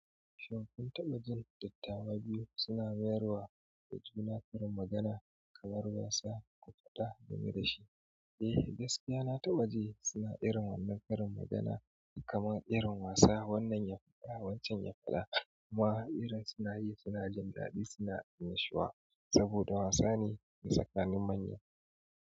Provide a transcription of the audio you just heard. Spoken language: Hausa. Shin kun taɓa jin dattawa biyu suna mayarwa da juna karin magana kamar wasa, kwafta ga me da shi. Eh gaskiya na tabaji suna irin wannan karin magana kamar irin wasa. Wannan ya faɗa wancan ya faɗa kuma irin sunayi suna jin daɗi suna annashuwa, saboda wasa ne a tsakanin manya.